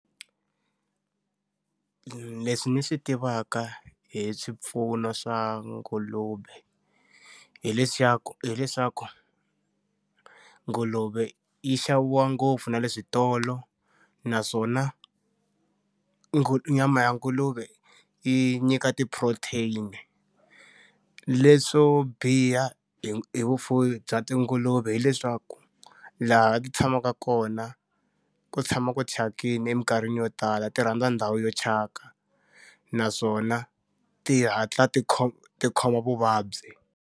Leswi ni swi tivaka hi swipfuno swa nguluve hileswaku hileswaku nguluve yi xaviwa ngopfu na le switolo naswona ngu nyama ya nguluve yi nyika ti-protein-i. Leswo biha hi hi vufuwi bya tinguluve hileswaku laha ti tshamaka kona, ku tshama ku thyakile eminkarhini yo tala ti rhandza ndhawu yo thyaka. Naswona ti hatla ti ti khoma vuvabyi.